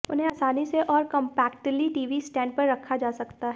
उन्हें आसानी से और कॉम्पैक्टली टीवी स्टैंड पर रखा जा सकता है